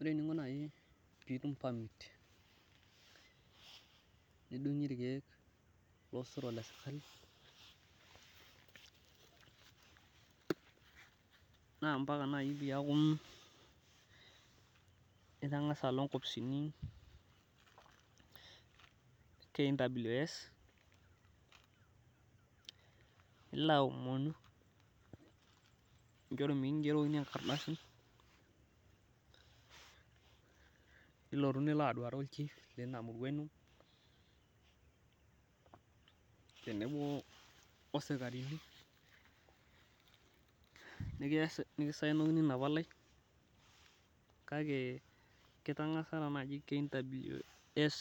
Ore eninlo naaji pee itum permit nidungie ilkeek losero le sirkali, naa mpaka naaji peeku itangasa alo nkoposini e Kws. nilo aomon nijoki mikigerokini enkardasi, milotu nilo aduuare olchif leina murua ino. tenebo osikarini. nikosayenokoni Ina palai, kake kitangasa taa naaji Kws.